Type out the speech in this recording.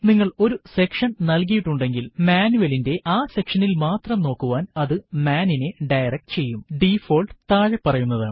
നിങ്ങൾ ഒരു സെക്ഷൻ നൽകിയിട്ടുണ്ടെങ്കിൽ മാനുവലിന്റെ ആ സെക്ഷനിൽ മാത്രം നോക്കുവാൻ അതു മാൻ നിനെ ഡയറക്ട് ചെയ്യും ഡിഫോൾട്ട് താഴെ പറയുന്നതാണ്